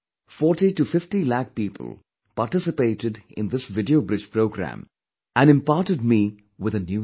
4050 lakh people participated in this video bridge program and imparted me with a new strength